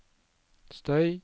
støy